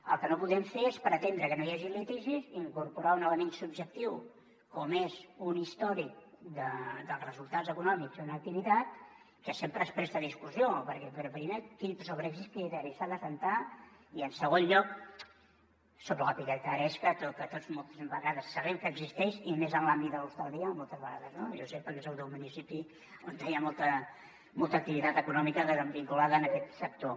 el que no podem fer és pretendre que no hi hagi litigis i incorporar un element subjectiu com és un històric dels resultats econòmics d’una activitat que sempre es presta a discussió però primer sobre quin criteri s’ha d’assentar i en segon lloc sobre lla picaresca que tots moltes vegades sabem que existeix i més en l’àmbit de l’hostaleria jo ho sé perquè soc d’un municipi on hi ha molta activitat econòmica vinculada a aquest sector